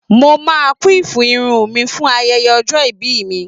Mo máa quiff irun mi fún ayẹyẹ ọjọ́ ìbí mi.